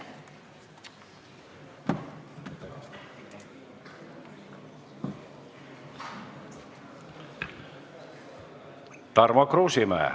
Tarmo Kruusimäe.